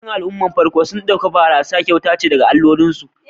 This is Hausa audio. Yawancin al'ummomin farko sun ɗauki barasa kyauta ce daga alloli